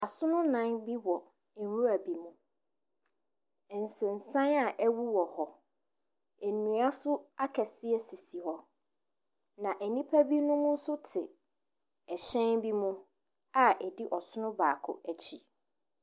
Asono nnan bi wɔ nwura bi mu. Nsensan a ɛwowɔ hɔ, nnua nso akɛseɛ sisi hɔ, na nnipa binom nso te hyɛn bi mu a ɛdi ɔsono baako akyi.